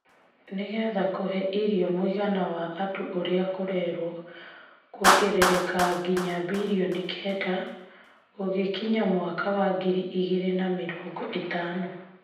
Nĩ getha kũhe irio mũigana wa andũ ũrĩa kũrewo kuongerereka ngina birioni kenda gũgĩkinya mwaka wa ngiri igĩrĩ na mĩrongo ĩtano,